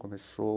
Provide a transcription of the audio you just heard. Começou...